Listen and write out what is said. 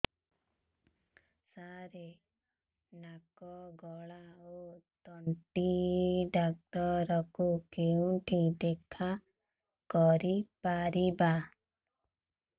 ସାର ନାକ ଗଳା ଓ ତଣ୍ଟି ଡକ୍ଟର ଙ୍କୁ କେଉଁଠି ଦେଖା କରିପାରିବା